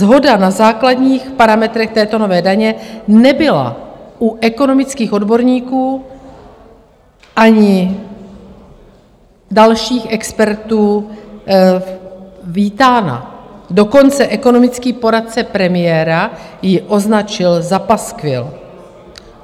Shoda na základních parametrech této nové daně nebyla u ekonomických odborníků ani dalších expertů vítána, dokonce ekonomický poradce premiéra ji označil za paskvil.